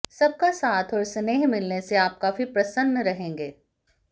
सबका साथ और स्नेह मिलने से आप काफी प्रसन्न रहेंगे